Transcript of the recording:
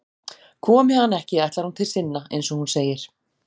Komi hann ekki ætlar hún til sinna, eins og hún segir.